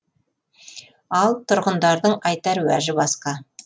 ал тұрғындардың айтар уәжі басқа